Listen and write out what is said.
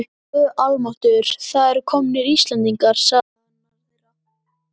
Guð almáttugur, það eru komnir Íslendingar, sagði annar þeirra.